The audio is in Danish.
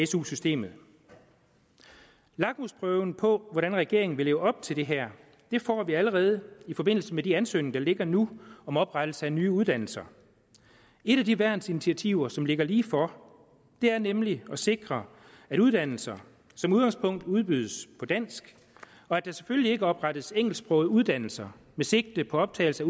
su systemet lakmusprøven på hvordan regeringen vil leve op til det her får vi allerede i forbindelse med de ansøgninger der ligger nu om oprettelse af nye uddannelser et af de værnsinitiativer som ligger lige for er nemlig at sikre at uddannelser som udgangpunkt udbydes på dansk og at der selvfølgelig ikke oprettes engelsksprogede uddannelser med sigte på optagelse